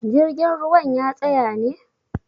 jirgin ruwan ya tsaya ne?